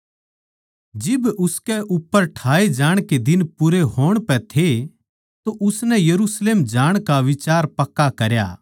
जिब उसके उप्पर ठाए जाण के दिन पूरे होण पै थे तो उसनै यरुशलेम जाण का बिचार पक्का करया